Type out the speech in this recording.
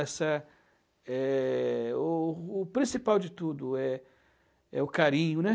essa é o o principal de tudo é é o carinho, né?